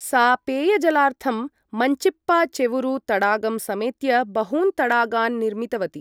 सा पेयजलार्थं मञ्चिप्पाचेरुवु तडागं समेत्य बहून् तडागान् निर्मितवती।